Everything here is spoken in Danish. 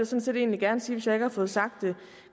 set egentlig gerne sige hvis jeg ikke har fået sagt det